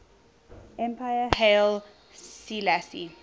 emperor haile selassie